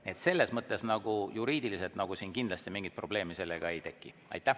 Nii et selles mõttes juriidiliselt siin kindlasti mingit probleemi sellega ei teki.